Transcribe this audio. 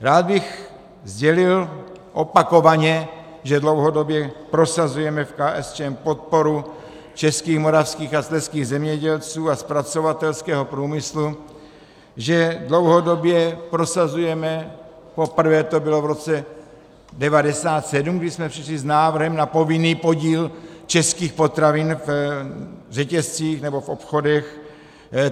Rád bych sdělil opakovaně, že dlouhodobě prosazujeme v KSČM podporu českých, moravských a slezských zemědělců a zpracovatelského průmyslu, že dlouhodobě prosazujeme, poprvé to byl v roce 1997, kdy jsme přišli s návrhem na povinný podíl českých potravin v řetězcích nebo v obchodech.